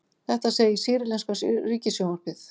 Þetta segir sýrlenska ríkissjónvarpið